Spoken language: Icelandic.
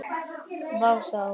Vá, sagði hún.